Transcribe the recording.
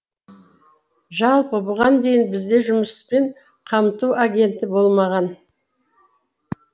жалпы бұған дейін бізде жұмыспен қамту агенті болмаған